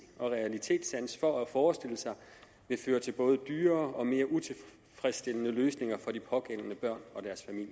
og realitetssans for at forestille sig vil føre til både dyrere og mere utilfredsstillende løsninger for de pågældende børn og